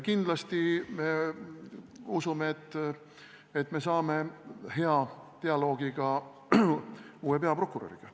Kindlasti me usume, et me saame hea dialoogi ka uue peaprokuröriga.